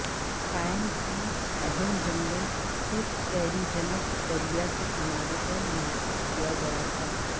pine کی اہم جنگل صرف کیریجنیٹ دریا کے کنارے پر محفوظ کیا گیا تھا